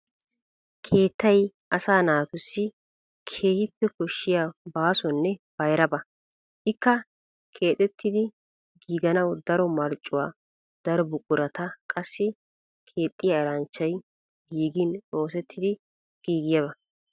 Keettay asaa naatussi keehippe koshshiya baasonne bayraba. Ikka keexettidi giiganawu daro marccuwa, daro buqurata, qassi keexxiya eranchchay giigin oosettidi giigiyaba.